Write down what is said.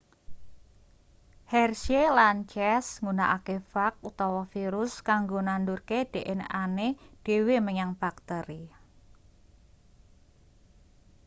hershey lan chase nggunakake fag utawa virus kanggo nandurke dnane dhewe menyang bakteri